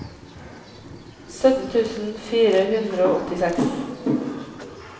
sytten tusen fire hundre og åttiseks